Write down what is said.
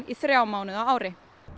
í þrjá mánuði á ári